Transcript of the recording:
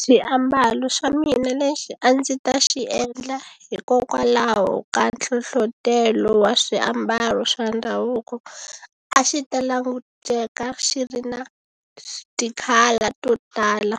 Xiambalo xa mina lexi a ndzi ta xi endla hikokwalaho ka nhlohlotelo wa swiambalo swa ndhavuko a xi ta languteka xi ri na ti-colour to tala